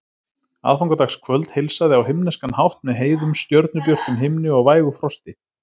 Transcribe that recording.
Aðfangadagskvöld heilsaði á himneskan hátt með heiðum, stjörnubjörtum himni og vægu frosti.